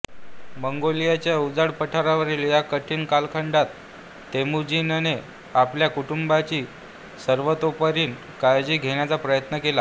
मंगोलियाच्या उजाड पठारावरील या कठीण कालखंडात तेमुजीनने आपल्या कुटुंबाची सर्वतोपरीने काळजी घेण्याचा प्रयत्न केला